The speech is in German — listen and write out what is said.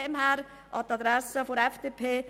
Deshalb sage ich an die Adresse der FDP: